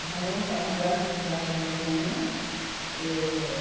Hannover é uma grande cidade na Alemanha. êh